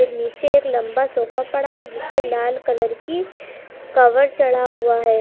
नीचे एक लंबा सोफा पड़ा है जिस पे लाल कलर की कवर चढ़ा हुआ है।